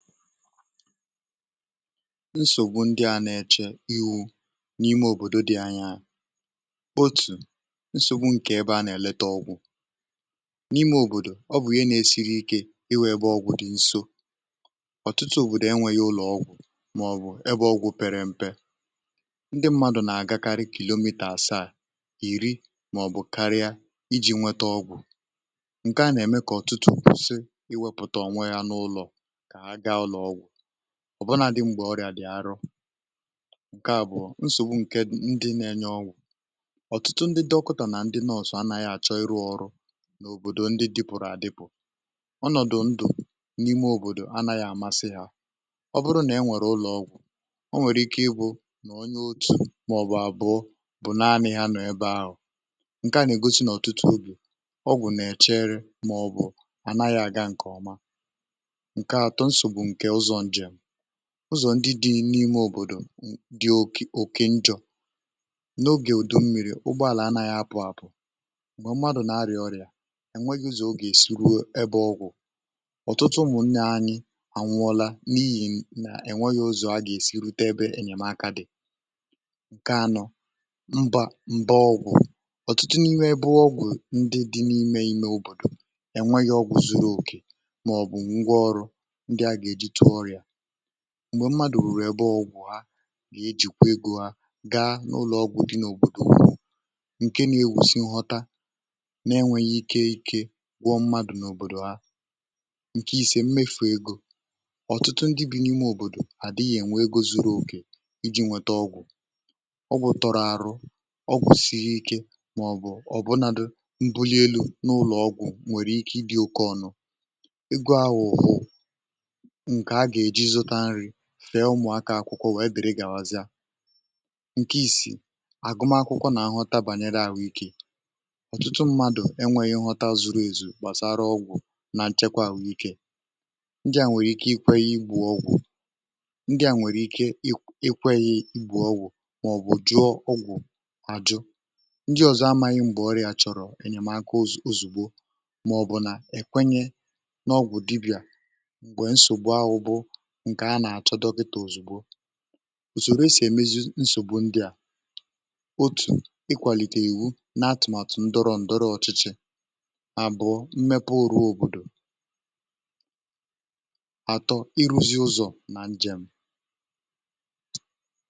nsògbu ndị a nà-èche iwu̇ n’ime òbòdo dị anya bụ otù nsògbu ǹkè ebe a nà-èlete ọgwụ̀ n’ime òbòdo um ọ bụ̀ ihe nȧ-ėsi̇ri̇ ike ịwụ̇ ebe ọgwụ̀ dị nso ọ̀tụtụ òbòdò enwėghi̇ ụlọ̀ ọgwụ̀ màọbụ̀ ebe ọgwụ̀ pere m̀pe ndị mmadụ̀ nà-àgakarị kìliòmìtè àsaà, ìri màọbụ̀ karịa iji̇ nwete ọgwụ̀ um ǹkè a nà-ème kà ọ̀tụtụ kwụsị iwėpụ̀tà onwe ya n’ụlọ̀ ọ̀ bụrụ na adị̇m gbà ọrịà dị̀ arụ ǹke à bụ̀ nsògbu ǹkè ndị nȧ-enye ọgwụ̀ ọ̀tụtụ ndị dị̇kọtọ nà ndị nọsọ anȧghị̇ àchọ iru ọrụ n’òbòdò ndị dị̇pụ̀rụ̀ àdịpụ̀ ọnọ̀dụ̀ ndụ̀ n’ime òbòdò anȧghị̇ àmasị hȧ ọ bụrụ nà e nwèrè ụlọ̀ ọgwụ̀ ọ nwèrè ike ịbụ̇ nà onye otu̇ màọ̀bụ̀ àbụọ bụ̀ naanị̇ ya nọ̀ ebe ahụ̀ ǹke à nà-ègosi n’ọ̀tụtụ obù ọgwụ̀ nà-èchere màọ̀bụ̀ ànaghị̇ àga ǹkè ọma ụzọ̀ ndị dị n’ime òbòdò dị oke njọ̇ n’ogè òdò mmiri̇ ụgbọàlà anȧghị̇ apụ̀ àpụ̀ um m̀gbè mmadụ̀ na-arị̀à ọrịà ènweghị ozì o gà-èsi ruo ebe ọgwụ̀ ọ̀tụtụ mụ̀ nne anyị ànwụọla n’ihì nà ènweghị ozì um a gà-èsi rute ebe enyèmaka dị̀ ǹke anọ mbà mbà ọgwụ̀ ọ̀tụtụ n’ime ebe ọgwụ̀ ndị dị n’ime ime òbòdò ènweghị̇ ọgwụ̀ zuru òkè m̀gbè mmadụ̀ ruru̇ ebe ọgwụ̀ ha na-ejìkwà egȯ ha gaa n’ụlọ̀ọgwụ̀ dị n’òbòdò ǹke na-ewusi nghọta na-enwėghi ike ike gwọ̇ mmadụ̀ n’òbòdò ha um ǹke isė mmefù egȯ ọ̀tụtụ ndị bì n’ime òbòdò à dịghị̇ ènwe egȯ zuru oke iji̇ nwete ọgwụ̀ ọgwụ̀ tọrọ arụ ọgwụ̀ siri ike màọbụ̀ ọ̀ bunàdụ mbuli elu̇ n’ụlọ̀ọgwụ̀ um nwèrè ike ịbị̇ oke ọnụ̇ fee ụmụ̀akọ̀ akwụkwọ wèe bèrè galazia ǹke ìsì àgụma akwụkwọ nà-ahọta bànyere àhụikė um ọ̀tụtụ mmadụ̀ enwėghi̇ ǹghọta zuru èzù gbàsara ọgwụ̀ na nchekwa àhụikė ndị à nwèrè ike ikwe yi gbùo ọgwụ̀ ndị à nwèrè ike ikwe yi igbè ọgwụ̀ um màọbụ̀ jụọ ọgwụ̀ àjụ ndị ọ̀zọ ama anyị mbà ọrịà chọ̀rọ̀ enyemaka òzù, òzùgbo màọbụ̀ nà èkwenye n’ọgwụ̀ dibị̀à òsòrò e sì èmezi nsògbu ndị à otù ịkwàlìtè ìwu n’atụ̀màtụ̀ ndọrọ ndọrọ ọ̀chịchị àbụ̀ọ mmepe òrụ òbòdò